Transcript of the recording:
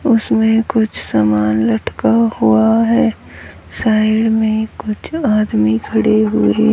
उसमें कुछ समान लटका हुआ है साइड मे कुछ आदमी खडे हुए--